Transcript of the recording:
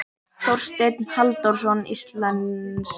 Þorsteinn Halldórsson íslenskaði.